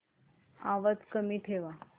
आवाज कमी ठेवा